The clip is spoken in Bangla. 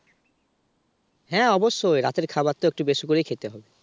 হ্যাঁ অবশ্যই রাতের খাবারটা তো একটু বেশি করে খেতে হবে